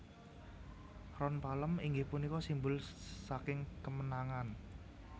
Ron palem inggih punika simbul saking kemenangan